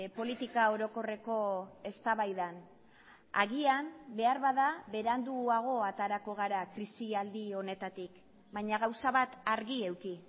politika orokorreko eztabaidan agian beharbada beranduago aterako gara krisialdi honetatik baina gauza bat argi eduki